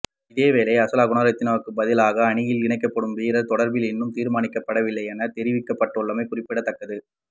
இதேவேளை அசேல குணரத்னவிற்கு பதிலாக அணியில் இணைக்கப்படும் வீரர் தொடர்பில் இன்னும் தீர்மானிக்கப்படவில்லை என தெரிவிக்கப்பட்டுள்ளமை குறிப்பிடத்தக்கது